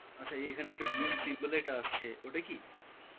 আচ্ছা এই এখানে একটা blue র symbol বলে এটা আসছে, ওটা কি?